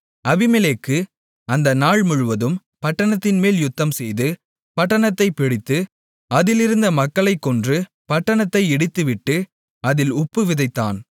அபிமெலேக்கு அந்த நாள் முழுதும் பட்டணத்தின்மேல் யுத்தம்செய்து பட்டணத்தைப் பிடித்து அதிலிருந்த மக்களைக்கொன்று பட்டணத்தை இடித்துவிட்டு அதில் உப்பு விதைத்தான்